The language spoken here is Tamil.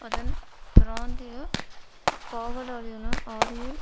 அதன் பிராந்திய காவலாளியன ஆரியல்